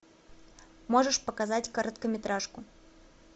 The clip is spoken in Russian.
можешь показать короткометражку